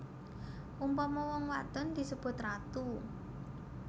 Umpama wong wadon disebut ratu